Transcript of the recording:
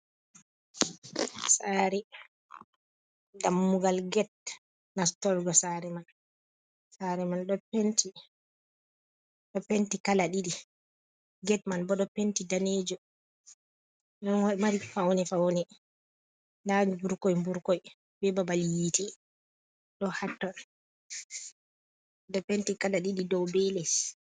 Saari ,dammugal get nastorgo saare man, saare man ɗo penti a get man kala ɗiɗi ,bo ɗo mari fawne fawne dani mburkoy burkoiy be babal yiiti ɗo hatta ɗo penti kala ɗiɗi dow be les.